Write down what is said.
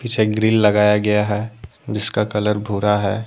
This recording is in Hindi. छे ग्रिल लगाया गया है जिसका कलर भूरा है।